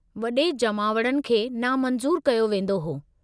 वडे॒ जमावड़नि खे नामंज़ूरु कयो वेंदो हो।